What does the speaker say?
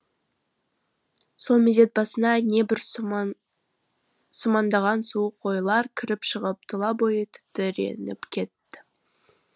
сол мезет басына небір сумаңдаған суық ойлар кіріп шығып тұла бойы тітіреніп кетті